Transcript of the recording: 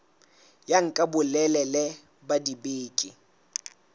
ya nka bolelele ba dibeke